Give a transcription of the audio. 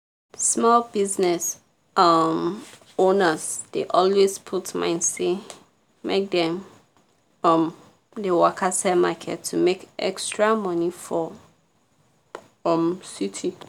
small business um owners dey always put mind say make dem um dey waka sell market to make extra money for um city